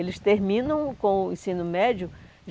Eles terminam com o ensino médio.